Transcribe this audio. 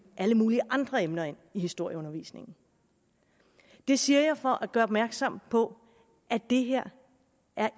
alle mulige andre emner ind i historieundervisningen det siger jeg for at gøre opmærksom på at det her